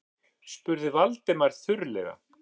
spurði Valdimar þurrlega.